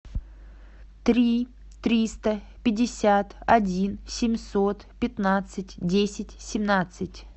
три триста пятьдесят один семьсот пятнадцать десять семнадцать